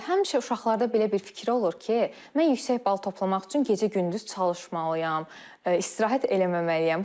Həmişə uşaqlarda belə bir fikir olur ki, mən yüksək bal toplamaq üçün gecə-gündüz çalışmalıyam, istirahət eləməməliyəm.